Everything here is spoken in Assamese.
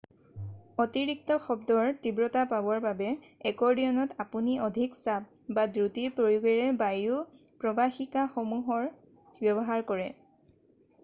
অতিৰিক্ত শব্দৰ তীব্ৰতা পাবৰ বাবে একৰ্ডিয়নত আপুনি অধিক চাপ বা দ্ৰুতিৰ প্ৰয়োগেৰে বায়ু প্ৰৱাহিকাসমূহৰ ব্যৱহাৰ কৰে